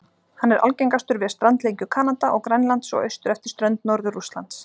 Hann er algengastur við strandlengju Kanada og Grænlands og austur eftir strönd Norður-Rússlands.